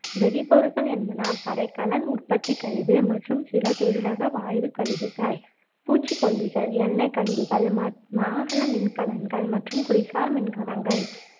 வெடிப்பொருட்கள் என்பன படைக்கலன் உற்பத்திக் கழிவு மற்றும் சில தொழிலக வாயுக் கழிவுகள், பூச்சுக்கொல்லிகள், எண்ணெய் கழிவுகள், மா வாகன மின்கலங்கள் மற்றும் குடிசார் மின்கலங்கள்